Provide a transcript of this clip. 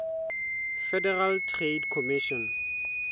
federal trade commission